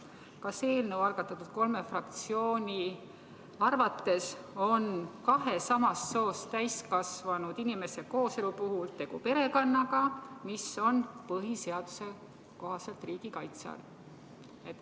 Kas eelnõu algatanud kolme fraktsiooni arvates on kahe samast soost täiskasvanud inimese kooselu puhul tegu perekonnaga, mis on põhiseaduse kohaselt riigi kaitse all?